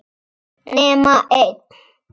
nema einn.